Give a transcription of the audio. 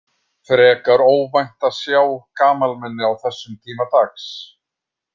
Frekar óvænt að sjá gamalmenni á þessum tíma dags.